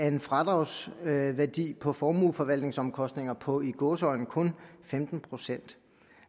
en fradragsværdi på formueforvaltningsomkostninger på i gåseøjne kun femten procent